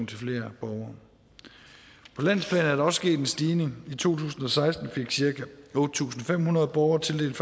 til flere borgere på landsplan er der også sket en stigning i to tusind og seksten fik cirka otte tusind fem hundrede borgere tildelt